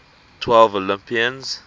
twelve olympians